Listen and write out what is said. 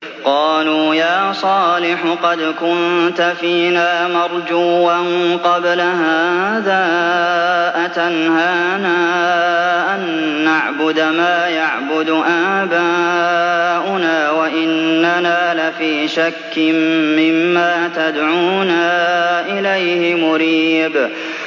قَالُوا يَا صَالِحُ قَدْ كُنتَ فِينَا مَرْجُوًّا قَبْلَ هَٰذَا ۖ أَتَنْهَانَا أَن نَّعْبُدَ مَا يَعْبُدُ آبَاؤُنَا وَإِنَّنَا لَفِي شَكٍّ مِّمَّا تَدْعُونَا إِلَيْهِ مُرِيبٍ